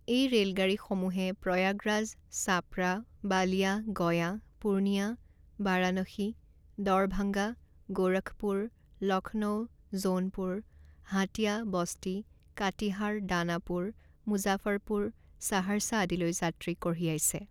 এই ৰে'লগাড়ীসমূহে প্ৰয়াগৰাজ, চাপড়া, বালিয়া, গয়া, পুৰ্ণিয়া, বাৰানসী, ডৰভাঙ্গা, গোৰখপুৰ, লক্ষ্ণৌ, জউনপুৰ, হাটীয়া, বস্তি, কাটিহাৰ, দানাপুৰ, মুজাফৰপুৰ, সাহাৰ্চা আদিলৈ যাত্ৰী কঢ়িয়াইছে।